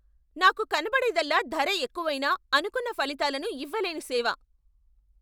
నాకు కనపడేదల్లా ధర ఎక్కువైనా, అనుకున్న ఫలితాలను ఇవ్వలేని సేవ.